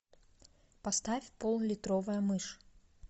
поставь поллитровая мышь